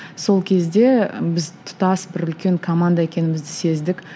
сол кезде біз тұтас бір үлкен команда екенімізді сездік